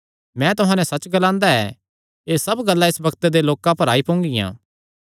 मैं तुहां नैं सच्च ग्लांदा ऐ एह़ सब गल्लां इस बग्त दे लोकां पर आई पोंगियां